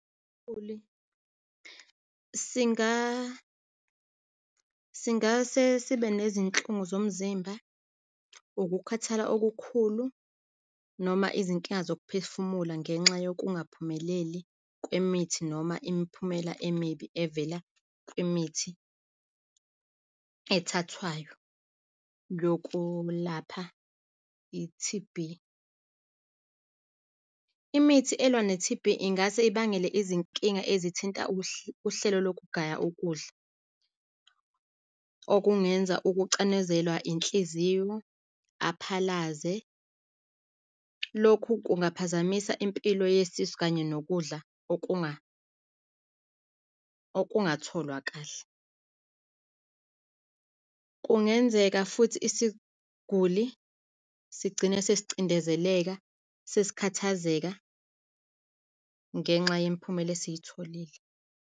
Isiguli singase sibe nezinhlungu zomzimba, ukukhathala okukhulu, noma izinkinga zokuphefumula, ngenxa yokungaphumeleli kwemithi noma imiphumela emibi evela kwimithi ethathwayo yokulapha i-T_B. Imithi elwa ne-T_B ingase ibangele izinkinga ezithinta uhlelo lokugaya ukudla, okungenza ukucanezelwa inhliziyo, aphalaze. Lokhu kungaphazamisa impilo yesisu kanye nokudla okungatholwa kahle. Kungenzeka futhi isiguli sigcine sesicindezeleka, sesikhathazeka, ngenxa yemiphumela esiyitholile.